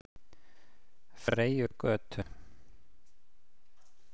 Freyjugötu